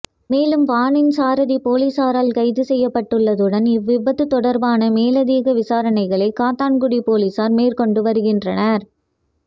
மேலும் வானின் சாரதி பொலிஸாரால் கைது செய்யப்பட்டுள்ளதுடன் இவ்விபத்து தொடர்பான மேலதிக விசாரணைகளை காத்தான்குடி பொலிஸார் மேற்கொண்டு வருகின்றனர்